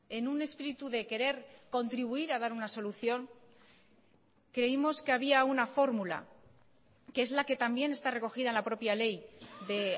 en un espíritu de querer contribuir a dar una solución creímos que había una fórmula que es la que también está recogida en la propia ley de